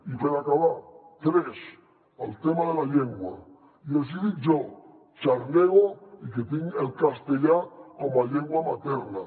i per acabar tres el tema de la llengua i els hi dic jo xarnego i que tinc el castellà com a llengua materna